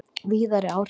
Víðari áhrif